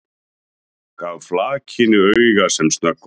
Gaf flakinu auga sem snöggvast.